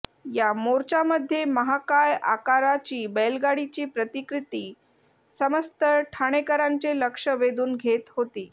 या मोर्चामध्ये महाकाय आकाराची बैलगाडीची प्रतिकृती समस्त ठाणेकरांचे लक्ष वेधून घेत होती